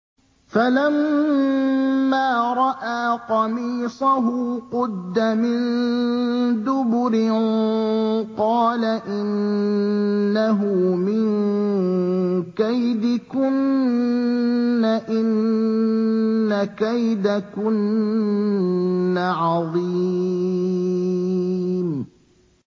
فَلَمَّا رَأَىٰ قَمِيصَهُ قُدَّ مِن دُبُرٍ قَالَ إِنَّهُ مِن كَيْدِكُنَّ ۖ إِنَّ كَيْدَكُنَّ عَظِيمٌ